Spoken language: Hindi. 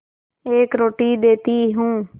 एक रोटी देती हूँ